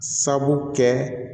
Sabu kɛ